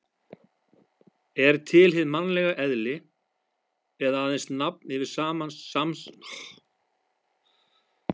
Er til hið mannlega eðli eða aðeins nafn yfir samsafn svipaðra manna?